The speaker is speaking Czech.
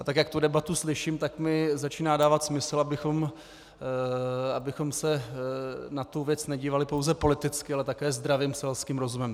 A tak jak tu debatu slyším, tak mi začíná dávat smysl, abychom se na tu věc nedívali pouze politicky, ale také zdravým selským rozumem.